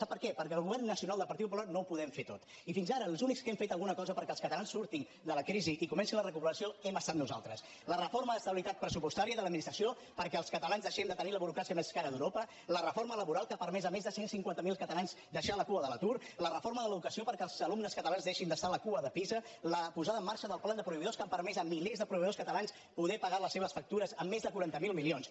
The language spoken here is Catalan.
sap per què perquè el govern nacional del partit popular no ho podem fer tot i fins ara els únics que hem fet alguna cosa perquè els catalans surtin de la crisi i comenci la recuperació hem estat nosaltres la reforma d’estabilitat pressupostària i de l’administració perquè els catalans deixem de tenir la burocràcia més cara d’europa la reforma laboral que ha permès a més de cent i cinquanta miler catalans deixar la cua de l’atur la reforma de l’educació perquè els alumnes catalans deixin d’estar a la cua de pisa la posada en marxa del pla de proveïdors que ha permès a milers de proveïdors catalans poder pagar les seves factures amb més de quaranta miler milions